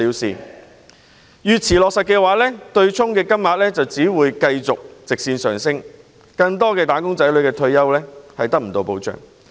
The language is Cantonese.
須知道越遲取消機制，對沖金額就會越高，令更多"打工仔女"無法得到退休保障。